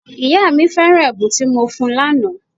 Ìyá mí feran ẹ̀bùn tí mo fún un lànà